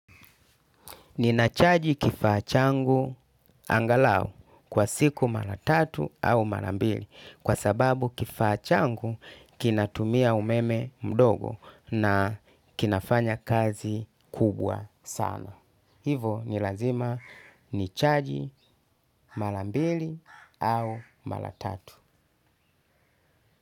Ninachaji kifaa changu angalau kwa siku mara tatu au mara mbili kwa sababu kifaa changu kinatumia umeme mdogo na kinafanya kazi kubwa sana. Hivo ni lazima nichaji mara mbili au mara tatu.